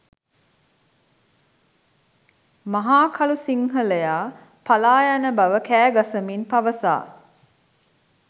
මහකළු සිංහලයා පලායන බව කෑගසමින් පවසා